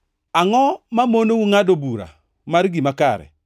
“Angʼo mamonou ngʼado bura mar gima kare?